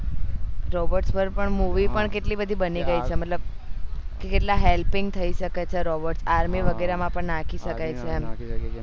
robot પર પણ movie પણ કેટલી બધી બની ગયી છે મતલબ કેટલા helping થઇ સકે છે robot army વગેરે માં પણ નાખી શકાય છે આમ